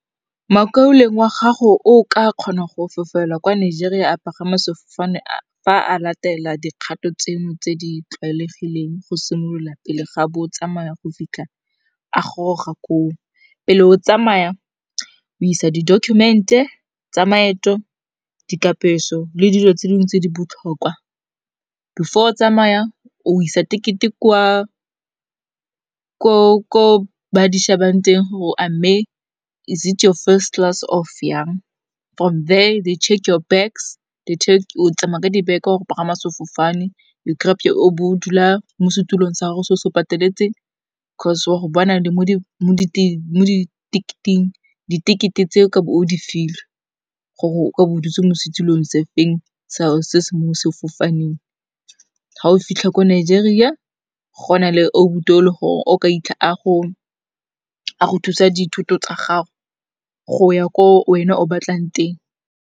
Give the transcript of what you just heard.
Makauleng wa gago o ka kgona go fofela kwa Nigeria a pagama sefofane fa a latela dikgato tseno tse di tlwaelegileng go simolola pele ga bo o tsamaya go fitlha a goroga koo. Pele o tsamaya o isa di document-e tsa maeto, dikapeso le dilo tse dingwe tse di botlhokwa. Before o tsamaya o isa teket-e ko ba di shebang teng gore a mme is it your first class of yang, from there they check your bags, o tsamaya ka dibeke wa go pagama sefofane, o bo o dula mo setulong sa gago se o se pateletseng, cause wa go bona le mo di tekete tse o ka bo o di filwe gore ka bo dutse mo setilong se feng, se se mo sefofaneng. Ga o fitlha ko Nigeria go na le obuti o e leng gore o ka itlha a go thusa dithoto tsa gago go ya ko wena o batlang teng.